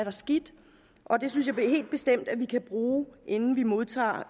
er skidt det synes jeg helt bestemt vi kan bruge inden vi modtager